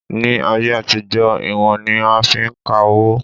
Ní ayé àtijọ́, ìwọ̀n ni a fi ń ka owó